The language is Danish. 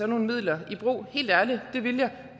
nogle midler i brug helt ærligt det ville jeg